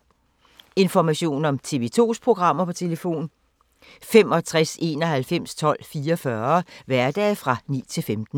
Information om TV 2's programmer: 65 91 12 44, hverdage 9-15.